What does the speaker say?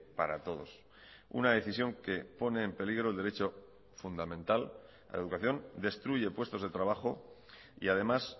para todos una decisión que pone en peligro el derecho fundamental a la educación destruye puestos de trabajo y además